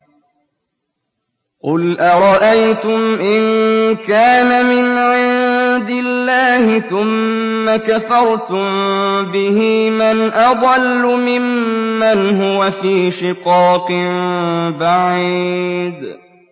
قُلْ أَرَأَيْتُمْ إِن كَانَ مِنْ عِندِ اللَّهِ ثُمَّ كَفَرْتُم بِهِ مَنْ أَضَلُّ مِمَّنْ هُوَ فِي شِقَاقٍ بَعِيدٍ